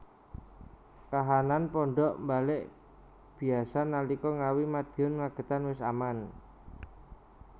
Kahanan pondhok mbalek biasa nalika Ngawi Madiun Magetan wis aman